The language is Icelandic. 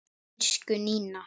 Elsku Nína.